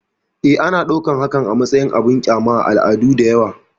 E, ana ɗaukar hakan a matsayin abin ƙyama a al'adu da yawa.